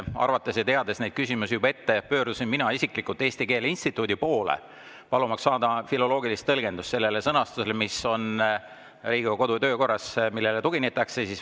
Teades neid küsimusi ette, pöördusin mina isiklikult Eesti Keele Instituudi poole, et saada filoloogilist tõlgendust selle sõnastuse kohta, mis on Riigikogu kodu‑ ja töökorras ja millele tuginetakse.